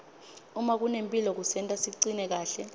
uma kunemphilo kusenta sicine kahle